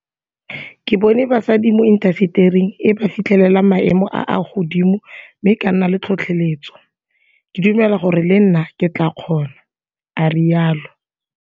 Ke bone basadi mo intasetering e ba fitlhelela maemo a a godimo mme ka nna le tlhotlheletso. Ke dumela gore le nna ke tla kgona, a rialo.